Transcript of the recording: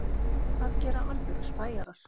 Það gera alvöru spæjarar.